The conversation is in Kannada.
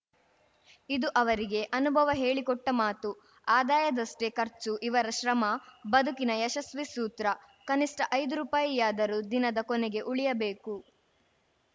ಇದು ಅವರಿಗೆ ಅನುಭವ ಹೇಳಿ ಕೊಟ್ಟಮಾತುಆದಾಯದಷ್ಟೇ ಖರ್ಚು ಇವರ ಶ್ರಮ ಬದುಕಿನ ಯಶಸ್ವೀ ಸೂತ್ರ ಕನಿಷ್ಠ ಐದು ರೂಪಾಯಿಯಾದರೂ ದಿನದ ಕೊನೆಗೆ ಉಳಿಯಬೇಕು